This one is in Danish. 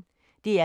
DR P1